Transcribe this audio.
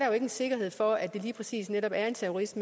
jo ingen sikkerhed for at det lige præcis er en terrorist